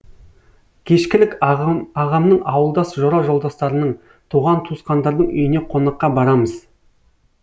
кешкілік ағамның ауылдас жора жолдастарының туған туысқандардың үйіне қонаққа барамыз